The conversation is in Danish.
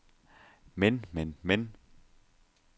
men men men